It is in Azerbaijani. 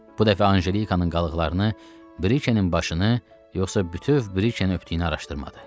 Bu dəfə Anjelikanın qalıqlarını, Brikenin başını, yoxsa bütöv Brikeni öpdüyünü araşdırmadı.